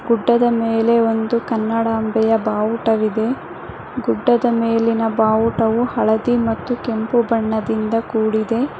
ಗುಡ್ಡದ ಮೇಲೆ ಒಂದು ಕನ್ನಡಾಂಬೆಯ ಬಾವುಟವಿದೆ ಗುಡ್ಡದ ಮೇಲಿನ ಬಾವುಟವು ಹಳದಿ ಮತ್ತು ಕೆಂಪು ಬಣ್ಣದಿಂದ ಕೂಡಿದೆ.